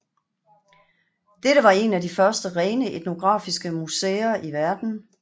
Dette var et af de første rene etnografiske museer i verden